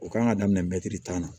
U kan ka daminɛ mɛtiri tan na